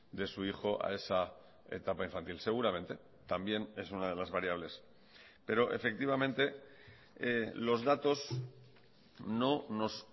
de su hijo a esa etapa infantil seguramente también es una de las variables pero efectivamente los datos no nos